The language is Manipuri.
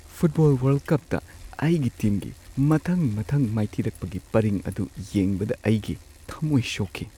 ꯐꯨꯠꯕꯣꯜ ꯋꯥꯔꯜꯗ ꯀꯞꯇ ꯑꯩꯒꯤ ꯇꯤꯝꯒꯤ ꯃꯊꯪ ꯃꯊꯪ ꯃꯥꯏꯊꯤꯔꯛꯄꯒꯤ ꯄꯔꯤꯡ ꯑꯗꯨ ꯌꯦꯡꯕꯗ ꯑꯩꯒꯤ ꯊꯝꯃꯣꯏ ꯁꯣꯛꯈꯤ ꯫